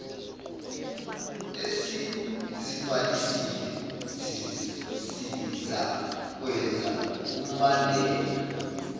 esizibhalisile sizakwenza umbandela